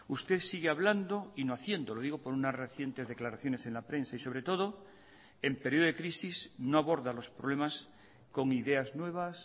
usted sigue hablando y no haciendo lo digo por unas recientes declaraciones en la prensa y sobre todo en periodo de crisis no aborda los problemas con ideas nuevas